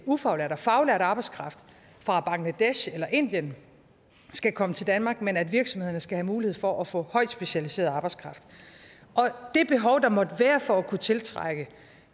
ufaglært og faglært arbejdskraft fra bangladesh eller indien skal komme til danmark men at virksomhederne skal have mulighed for at få højt specialiseret arbejdskraft det behov der måtte være for at kunne tiltrække